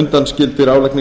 undanskilin álagningu